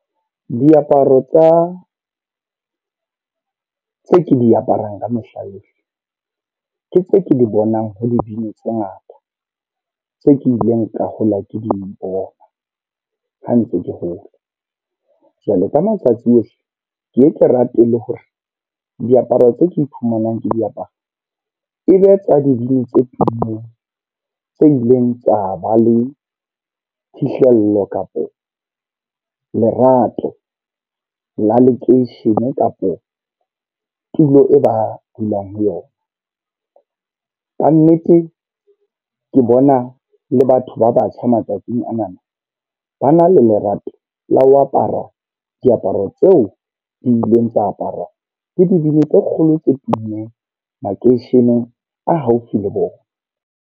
Diaparo tsa tse ke di aparang ka mehla yohle. Ke tse ke di bonang ho dibini tse ngata. Tse ke ileng ka hola ke di bona, ha ntse ke hola. Jwale ka matsatsi ohle, ke ye ke rapele hore diaparo tse ke iphumanang ke diapara. E be tsa dibini tse tummeng, tse ileng tsa ba le phihlello kapa lerato la lekeishene, kapo tulo e ba dulang ho yona. Kannete ke bona le batho ba batjha matsatsing anana, ba na le lerato la ho apara diaparo tseo di ileng tsa aparwa ke dibini tse kgolo tse tummeng makeisheneng a haufi le bona.